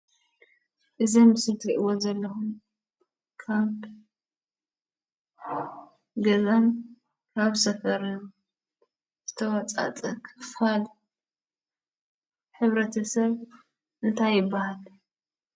እዙይ ኣብ ምስሊ እትርእይዎ ዘለኩም ካብ ገዛን ካብ ሰፈርን ዝትወፃፀአ ክፋል ሕብረተሰብ እንታይ ይብሃል?